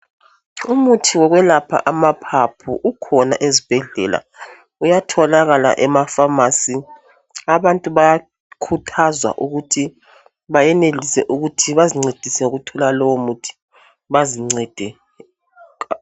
Umuthi okuyelapha amaphaphu ukhona ezibhedlela uyatholakala emaphamacy abantu bayakhuthazwa ukuthi bayenelise bazincedise ukuthola lowo muthi bazincede kakhulu ngawo